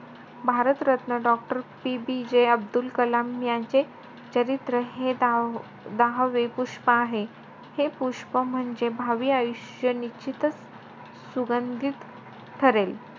Bharat Ratna doctor PBJ Abdul Kalam यांचे चरित्र हे द~ दहावे पुष्प आहे. हे पुष्प म्हणजे भावी आयुष्य निश्चितचं सुगंधीत ठरेल.